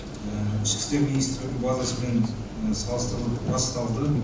ішкі істер министрлігінің базасымен салыстырылып расталды